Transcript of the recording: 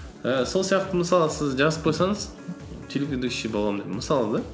ііі сол сияқты мысалы сіз жазып қойсаңыз телеведущий боламын деп мысалы да